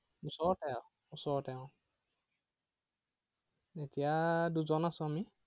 ওচৰতে আৰু ওচৰতে উম এতিয়া দুজন আছো আমি।